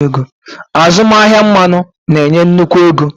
Azụmahịa mmanụ na-enye nnukwu ego.